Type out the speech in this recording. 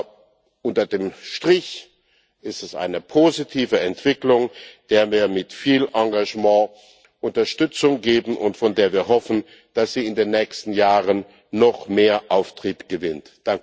Aber unter dem Strich ist es eine positive Entwicklung, der wir mit viel Engagement Unterstützung geben und von der wir hoffen, dass sie in den nächsten Jahren noch mehr Auftrieb gewinnt.